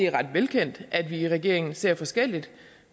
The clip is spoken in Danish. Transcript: er ret velkendt at vi i regeringen ser forskelligt